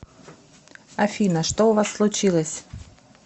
афина что у вас случилось